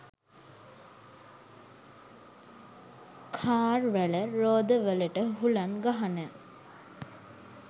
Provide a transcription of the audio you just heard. car වල රෝද වලට හුළං ගහන